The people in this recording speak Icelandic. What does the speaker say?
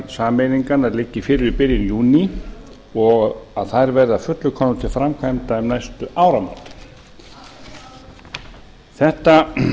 sameiningar liggi fyrir í byrjun júní og þær verða að fullu komnar til framkvæmda um næstu áramót þetta